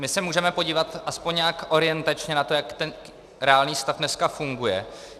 My se můžeme podívat aspoň nějak orientačně na to, jak ten reálný stav dneska funguje.